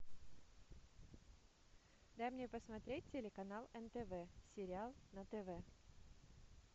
дай мне посмотреть телеканал нтв сериал на тв